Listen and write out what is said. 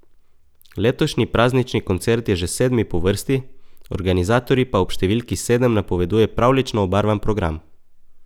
Letošnji praznični koncert je že sedmi po vrsti, organizatorji pa ob številki sedem napoveduje pravljično obarvan program.